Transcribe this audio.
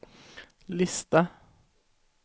lista